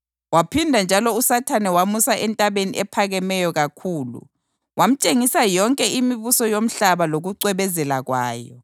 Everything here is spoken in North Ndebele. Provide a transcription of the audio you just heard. Waphinda njalo uSathane wamusa entabeni ephakemeyo kakhulu, wamtshengisa yonke imibuso yomhlaba lokucwebezela kwayo.